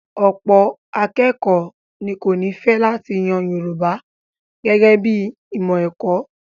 Ọ̀pọ̀ akékọ̀ọ́ ní kò ní fẹ́ láti yan Yorùbá gẹ́gẹ́ bí i ìmọ̀ ẹ̀kọ́.